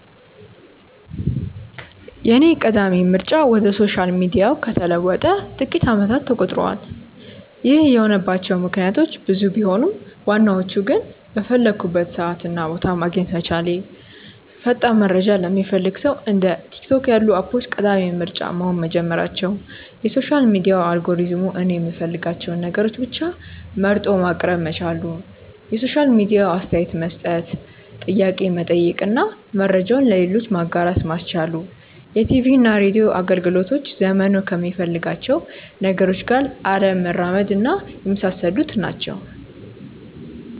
የኔ ቀዳሚ ምርጫ ወደ ሶሻል ሚዲያው ከተለወጠ ጥቂት አመታት ተቆጥረዋል። ይህ የሆነባቸው ምክንያቶች ብዙ ቢሆኑም ዋናዎቹ ግን:- በፈለኩበት ሰዓት እና ቦታ ማግኘት መቻሌ፣ ፈጣን መረጃ ለሚፈልግ ሰው እንደ ቲክቶክ ያሉ አፖች ቀዳሚ ምርጫ መሆን መጀመራቸው፣ የሶሻል ሚዲያ አልጎሪዝሙ እኔ የምፈልጋቸውን ነገሮች ብቻ መርጦ ማቅረብ መቻሉ፣ የሶሻል ሚዲያው አስተያየት መስጠት፣ ጥያቄ መጠየቅ እና መረጃውን ለሌሎች ማጋራት ማስቻሉ፣ የቲቪና ሬድዮ አገልግሎቶች ዘመኑ ከሚፈልጋቸው ነገሮች ጋር አለመራመድና የመሳሰሉት ናቸው።